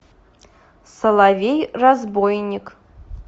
соловей разбойник